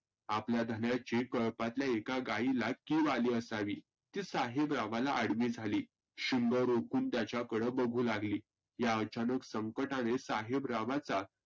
आपल्या धन्याचे कळपातल्या एका गाईला किव आली असावी. जी साहेबरावाला आडवी झाली. शिंग रोकुन त्याच्याकडं बघु लागली या अचानक संकटाने साहेबरावाचा